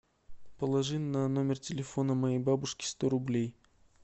положи на номер телефона моей бабушки сто рублей